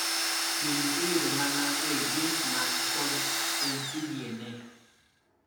gini iyudo mana ei jins man kod mtDNA